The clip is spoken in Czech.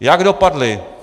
Jak dopadly?